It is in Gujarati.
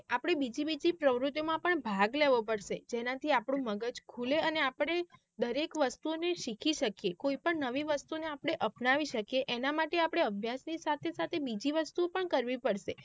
આપડે બીજી બીજી પ્રવુતિઓ માં one પણ ભાગ લેવો પડશે જેના થી આપણું મગજ ખુલે અને આપડે દરેક વસ્તુ ને શીખી શકીયે કોઈ પણ નવી વસ્તુ ને આપડે અપનાવી શકીયે એના માટે આપડે અભ્યાસ ની સાથે સાથે બીજી વસ્તુઓ પણ કરવી પડશે.